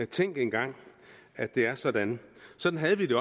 tænk engang at det er sådan sådan havde vi